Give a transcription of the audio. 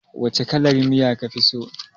Wace kalar miya ka fi so